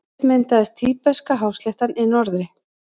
Fyrst myndaðist Tíbeska-hásléttan í norðri.